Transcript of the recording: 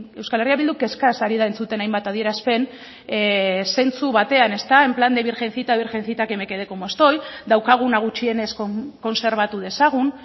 euskal herria bilduk kezkaz ari da entzuten hainbat adierazpen zentzu batean ezta en plan de virgencita virgencita que me quede como estoy daukaguna gutxienez kontserbatu dezagun